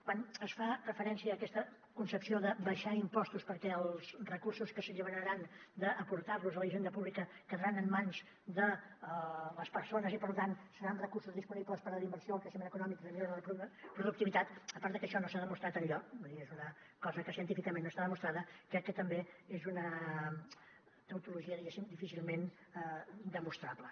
quan es fa referència a aquesta concepció d’abaixar impostos perquè els recursos que s’alliberaran d’aportar los a la hisenda pública quedaran en mans de les persones i per tant seran recursos disponibles per a la inversió el creixement econòmic i la millora de la productivitat a part de que això no s’ha demostrat enlloc vull dir és una cosa que científicament no està demostrada crec que també és una tautologia diguéssim difícilment demostrable